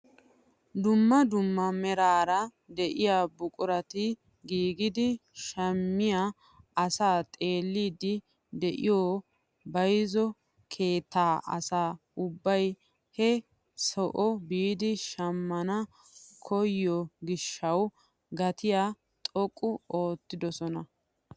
Dumma dumm meraara de'iyaa buqurati giigidi shammiyaa asaa xeelliidi de'iyoo bayzziyoo keettan asa ubbay he soo biidi shammana koyiyoo gishshawu gatiyaa xoqqu oottidosona.